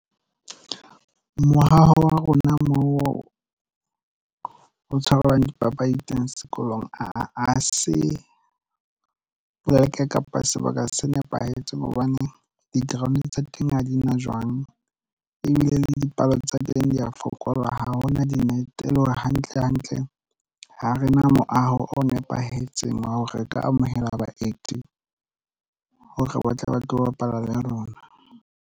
Moaho wa rona mo o tshwarelwang dipapadi teng sekolong ha se pleke kapa sebaka se nepahetseng hobane di-ground tsa teng ha di na jwang ebile le dipalo tsa teng di ya fokola ha hona di-net e le hore hantle hantle ha re na moaho o nepahetseng wa hore re ka amohela baeti hore ba tle ba tlo bapala le rona.